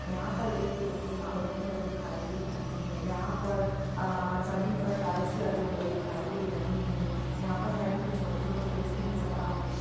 यहाँ पर एक व्यक्ति माला पहने हुए दिखाई दे रहे हैं यहाँ पर आ ज़मीन पर टाइल्स लगे हुए दिखाई दे रहे हैं यहाँ पर साइड में कुछ छोटे-छोटे पेड़ भी नज़र आ रहे हैं।